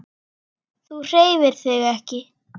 Þú hreyfir þig ekki.